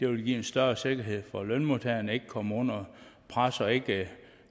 vil give en større sikkerhed for at lønmodtageren ikke kommer under pres og ikke